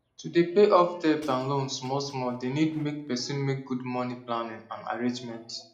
to dey pay off debt and loan small small dey need make person make good money planning and arrangement